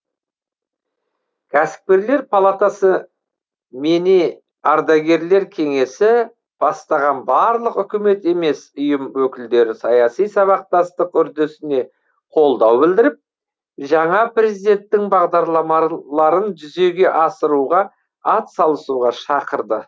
кәсіпкерлер палатасы мене ардагерлер кеңесі бастаған барлық үкімет емес ұйым өкілдері саяси сабақтастық үрдісіне қолдау білдіріп жаңа президенттің бағдарламаларын жүзеге асыруға атсалысуға шақырды